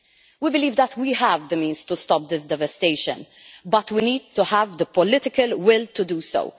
We believe that we have the means to stop this devastation but we need to have the political will to do so.